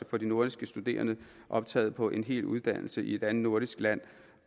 for de nordiske studerende der optaget på en hel uddannelse i et andet nordisk land